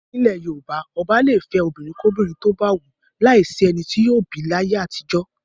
Nílẹ̀ Yorùbá, ọba le fẹ́ obìnrinkóbìnrin tó bá wù ú, láìsí ẹni tí yóò bì í láyé àtijọ́.